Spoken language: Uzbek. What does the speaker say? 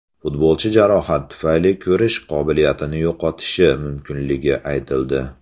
Futbolchi jarohat tufayli ko‘rish qobiliyatini yo‘qotishi mumkinligi aytildi .